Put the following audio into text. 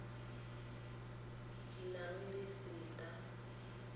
di nang le setat he